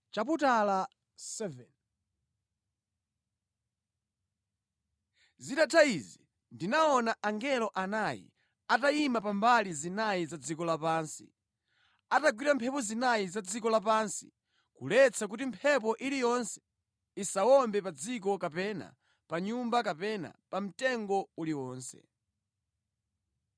Zitatha izi ndinaona angelo anayi atayima pa mbali zinayi za dziko lapansi, atagwira mphepo zinayi za dziko lapansi kuletsa kuti mphepo iliyonse isawombe pa dziko kapena pa nyanja kapena pa mtengo uliwonse.